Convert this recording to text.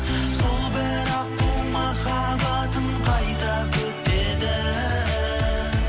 сол бір аққу махаббатын қайта күтеді